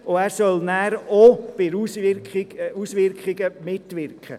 Der Grosse Rat soll danach auch bei den Auswirkungen mitreden.